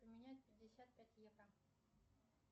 поменять пятьдесят пять евро